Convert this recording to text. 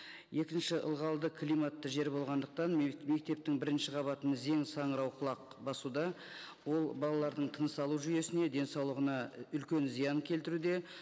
екінші ылғалды климатты жер болғандықтан мектептің бірінші қабатын зең саңырауқұлақ басуда ол балалардың тыныс алу жүйесіне денсаулығына үлкен зиян келтіруде